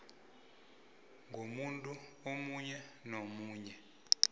komuntu omunye nomunye